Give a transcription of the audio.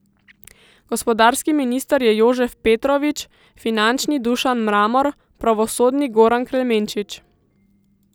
Gospodarski minister je Jožef Petrovič, finančni Dušan Mramor, pravosodni Goran Klemenčič.